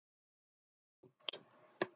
Gekk út.